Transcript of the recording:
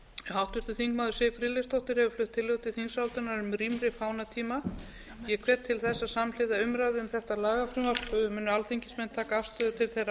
háttvirtur þingmaður siv friðleifsdóttir hefur flutt tillögu til þingsályktunar um rýmri fánatíma ég hvet til þess að samhliða umræðu um þetta lagafrumvarp muni alþingismenn taka afstöðu til þeirra